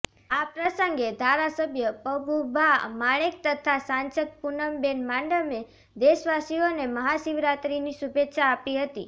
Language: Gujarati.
આ પ્રસંગે ધારાસભ્ય પબુભા માણેક તથા સાંસદ પુનમબેન માડમે દેશવાસીઓને મહાશિવરાત્રીની શુભેચ્છા આપી હતી